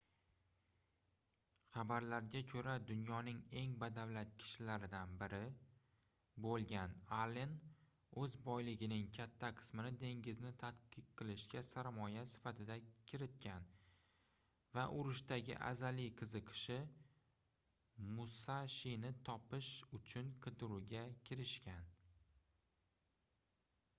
xabarlarga koʻra dunyoning eng badavlat kishilaridan biri boʻlgan allen oʻz boyligining katta qismini dengizni tadqiq qilishga sarmoya sifatida kiritgan va urushdagi azaliy qiziqishi musashini topish uchun qidiruvga kirishgan